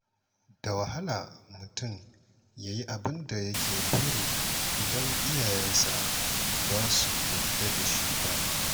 Da wahala mutum ya yi abin da yake buri idan iyayensa ba su yarda da shi ba.